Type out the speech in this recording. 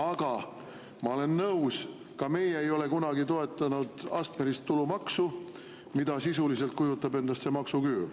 Aga ma olen nõus, ka meie ei ole kunagi toetanud astmelist tulumaksu, mida sisuliselt kujutab endast see maksuküür.